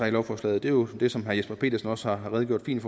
i lovforslaget er jo det som herre jesper petersen også har redegjort fint